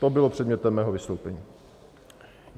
To bylo předmětem mého vystoupení.